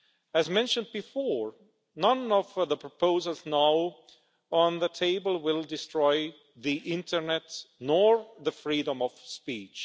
As mentioned before, none of the proposals now on the table will destroy the internet nor the freedom of speech.